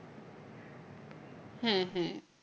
হ্যাঁ হ্যাঁ।